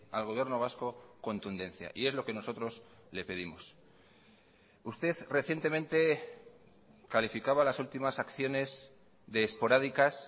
al gobierno vasco contundencia y es lo que nosotros le pedimos usted recientemente calificaba las últimas acciones de esporádicas